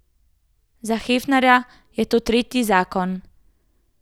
Za Hefnerja je to tretji zakon.